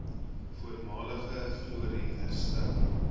voormalige glorie herstel